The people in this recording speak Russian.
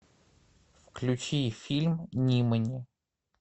включи фильм нимани